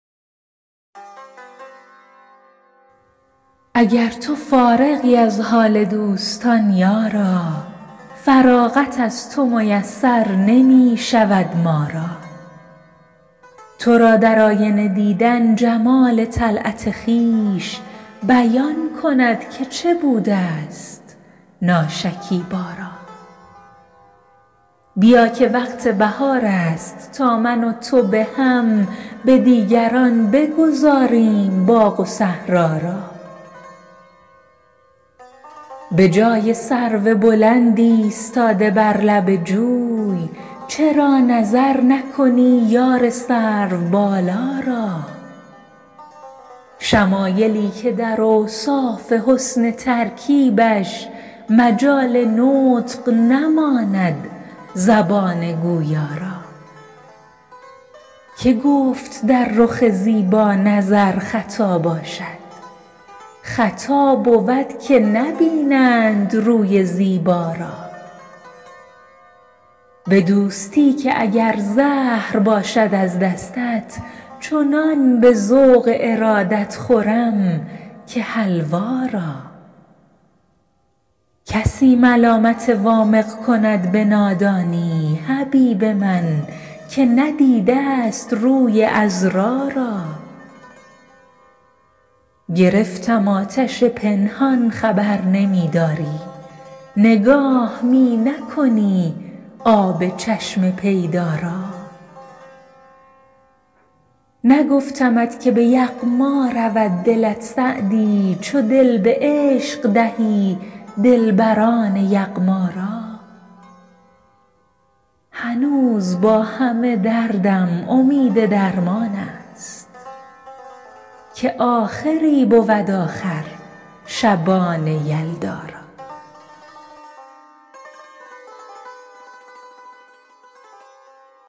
اگر تو فارغی از حال دوستان یارا فراغت از تو میسر نمی شود ما را تو را در آینه دیدن جمال طلعت خویش بیان کند که چه بوده ست ناشکیبا را بیا که وقت بهار است تا من و تو به هم به دیگران بگذاریم باغ و صحرا را به جای سرو بلند ایستاده بر لب جوی چرا نظر نکنی یار سروبالا را شمایلی که در اوصاف حسن ترکیبش مجال نطق نماند زبان گویا را که گفت در رخ زیبا نظر خطا باشد خطا بود که نبینند روی زیبا را به دوستی که اگر زهر باشد از دستت چنان به ذوق ارادت خورم که حلوا را کسی ملامت وامق کند به نادانی حبیب من که ندیده ست روی عذرا را گرفتم آتش پنهان خبر نمی داری نگاه می نکنی آب چشم پیدا را نگفتمت که به یغما رود دلت سعدی چو دل به عشق دهی دلبران یغما را هنوز با همه دردم امید درمان است که آخری بود آخر شبان یلدا را